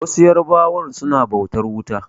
Wasu yarbawa suna bautar wuta.